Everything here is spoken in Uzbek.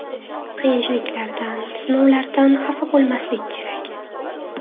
Qiyinchiliklardan, sinovlardan xafa bo‘lmaslik kerak.